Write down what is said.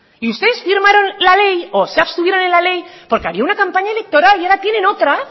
y ustedes firmaron la ley o se abstuvieron en la ley porque había una campaña electoral y ahora tienen otra